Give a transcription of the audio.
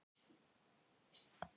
Kæru gestir! Velkomnir til Akureyrar.